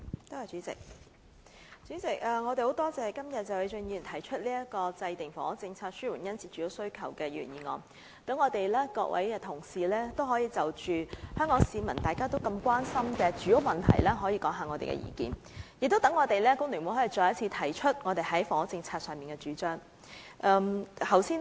代理主席，我們感謝謝偉俊議員今天提出"制訂房屋政策紓緩殷切住屋需求"的議案，讓各位同事可以就香港市民都關心的住屋問題發表意見，也讓工聯會可以再次提出我們在房屋政策方面的主張。